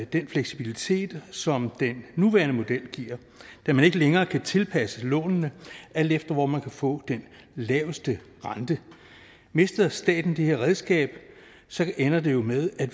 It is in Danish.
den fleksibilitet som den nuværende model giver da man ikke længere kan tilpasse lånene alt efter hvor man kan få den laveste rente mister staten det her redskab ender det jo med at